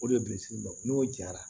O de ye bilisi dɔ n'o jara